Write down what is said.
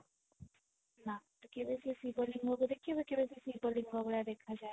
ନା ତୁ କେବେ ସେ ଶିବ ଲିଙ୍ଗ କୁ ଦେଖିବୁ କିନ୍ତୁ ସେ ଶିବ ଲିଙ୍ଗ ଭଳିଆ ଦେଖା ଯାଏନି